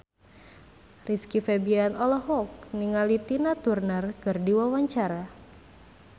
Rizky Febian olohok ningali Tina Turner keur diwawancara